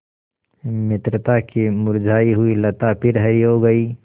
मित्रता की मुरझायी हुई लता फिर हरी हो गयी